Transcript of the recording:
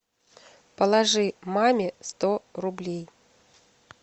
положи маме сто рублей